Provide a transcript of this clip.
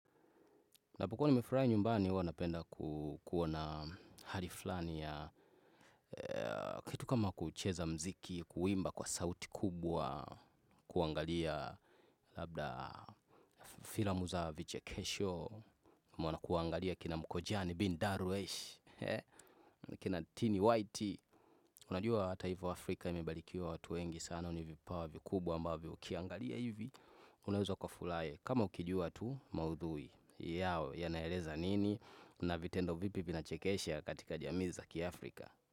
Napokuwa nimefurahi nyumbani huwa napenda kuwa na hali fulani ya kitu kama kuucheza muziki kuimba kwa sauti kubwa kuangalia labda filamu za vichekesho mwana kuangalia kina mkojani bin Darwesh kina tini white. Si unajua hata hivyo Afrika imebarikiwa watu wengi sana wana vipawa vikubwa ambavyo ukiangalia hivi, unaweza ukafurahi. Kama ukijua tu maudhui yao, yanaeleza nini? Kuna vitendo vipi vinachekesha katika jamii za ki Afrika.